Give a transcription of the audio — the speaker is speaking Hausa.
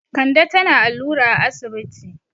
Kande tana allura a asibiti.